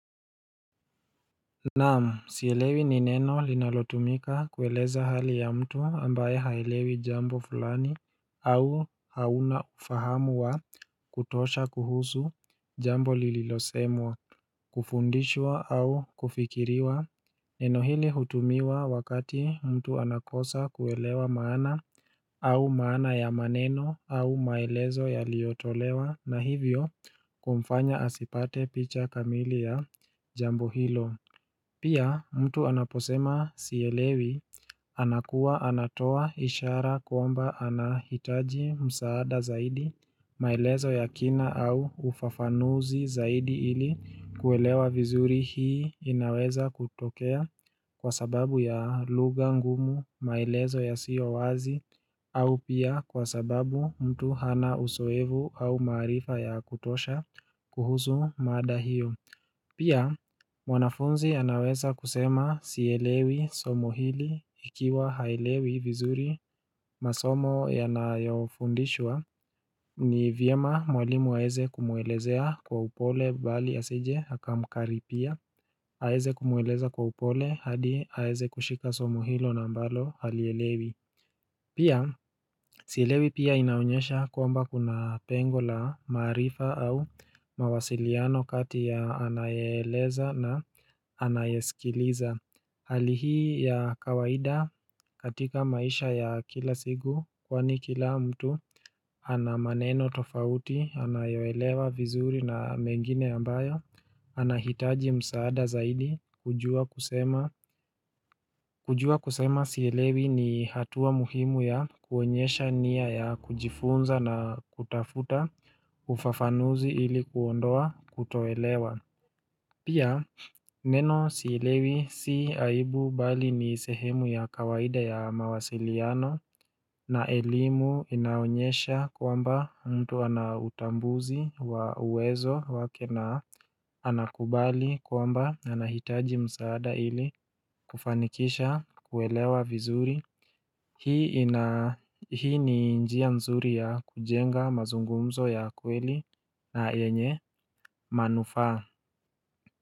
Naam, sielewi ni neno linalotumika kueleza hali ya mtu ambaye haelewi jambo fulani au hauna ufahamuwa kutosha kuhusu jambo lililosemwa kufundishwa au kufikiriwa Neno hili hutumiwa wakati mtu anakosa kuelewa maana au maana ya maneno au maelezo ya liotolewa na hivyo kumfanya asipate picha kamili ya jambo hilo Pia mtu anaposema siyelewi anakuwa anatoa ishara kuomba anahitaji msaada zaidi maelezo ya kina au ufafanuzi zaidi ili kuelewa vizuri hii inaweza kutokea kwa sababu ya luga ngumu maelezo ya siyo wazi au pia kwa sababu mtu hana uzoefu au marifa ya kutosha kuhusu mada hiyo. Pia, mwanafunzi anaweza kusema siyelewi somo hili ikiwa haelewi vizuri masomo yanayofundishwa ni vyema mwalimu aeze kumuelezea kwa upole bali asije haka mkari pia, aeze kumueleza kwa upole hadi aeze kushika somo hilo na mbalo halielewi. Pia, silewi pia inaonyesha kwamba kuna pengola marifa au mawasiliano kati ya anayeleza na anayesikiliza Halihi ya kawaida katika maisha ya kila siku kwa ni kila mtu ana maneno tofauti, anayewelewa vizuri na mengine ambayo ana hitaji msaada zaidi kujua kusema kujua kusema siilewi ni hatua muhimu ya kuonyesha niya ya kujifunza na kutafuta ufafanuzi ili kuondoa kutoelewa Pia neno silewi si aibu bali ni sehemu ya kawaida ya mawasiliano na elimu inaonyesha kwamba mtu anautambuzi wa uwezo wake na anakubali kwamba anahitaji msaada ili kufanikisha kuwelewa vizuri Hii ni njia mzuri ya kujenga mazungumzo ya kweli na enye manufaa.